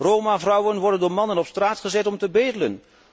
Roma vrouwen worden door mannen op straat gezet om te bedelen.